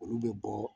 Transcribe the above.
Olu bɛ bɔ